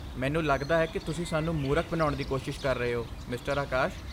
ਮੈਨੂੰ ਲੱਗਦਾ ਹੈ ਕਿ ਤੁਸੀਂ ਸਾਨੂੰ ਮੂਰਖ ਬਣਾਉਣ ਦੀ ਕੋਸ਼ਿਸ਼ ਕਰ ਰਹੇ ਹੋ, ਮਿਸਟਰ ਆਕਾਸ਼।